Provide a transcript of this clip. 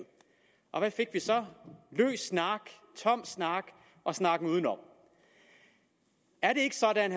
hvad fik vi så løs snak tom snak og snakken udenom er det ikke sådan